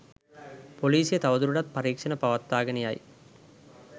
පොලිසිය තවදුරටත් පරීක්‍ෂණ පවත්වාගෙන යයි